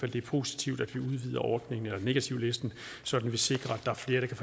det er positivt at vi udvider ordningen eller negativlisten så vi sikrer